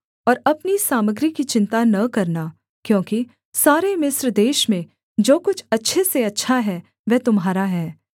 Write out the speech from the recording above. और अपनी सामग्री की चिन्ता न करना क्योंकि सारे मिस्र देश में जो कुछ अच्छे से अच्छा है वह तुम्हारा है